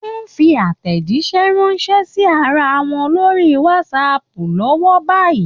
Wọ́n ń fi àtèjíṣẹ́ ránṣẹ́ sí ara wọn lórí WhatsApp lọ́wọ́ báyìí.